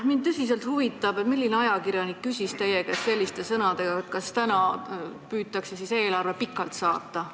Mind tõsiselt huvitab, milline ajakirjanik küsis teie käest selliste sõnadega, et kas täna püütakse siis eelarve pikalt saata.